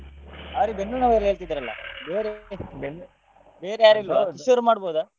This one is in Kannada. ಅವ್ರಿಗೆ ಬೆನ್ನುನೋವು ಅಲ್ಲ ಹೇಳ್ತಿದ್ರಲ್ಲ ಬೇರೆ ಬೇರೆ ಯಾರು ಇಲ್ವಾ? ಕಿಶೋರ್ ಮಾಡ್ಬೋದ?